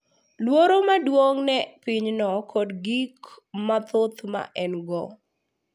Luor maduong’ ne pinyno kod gik mathoth ma en-go.